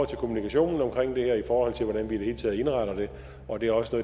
til kommunikationen omkring det her i forhold til hvordan vi i det hele taget indretter det og det er også